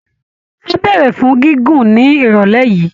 Á béèrè fún gígùn ní ìrọ̀lẹ́ yìí